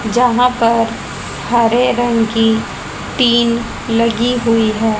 जहां पर हरे रंग की टीन लगी हुई है।